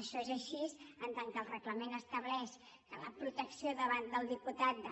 això és així en tant que el reglament estableix que la protecció davant del diputat